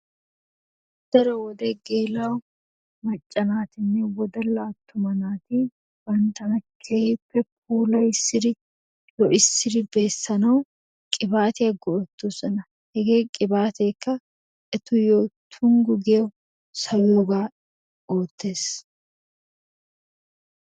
Daroo wodee gela'o maccaa natinnee wodalaa atumaa natti banttanaa kehipee fulayissidi lo'issiddi besanawu qibatiyaa go'etosonna hege qibaatekka etuyoo tongu gii sawiyogaa ottessi